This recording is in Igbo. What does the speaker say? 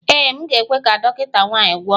Ee, m ga-ekwe ka dọkịta nwanyị gwọọ m